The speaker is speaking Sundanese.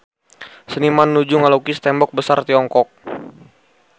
Seniman nuju ngalukis Tembok Besar Tiongkok